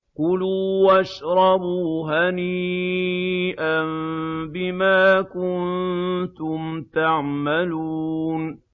كُلُوا وَاشْرَبُوا هَنِيئًا بِمَا كُنتُمْ تَعْمَلُونَ